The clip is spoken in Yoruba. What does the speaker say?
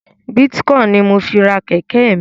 Bitcoin ní mọ fí rà kéké mí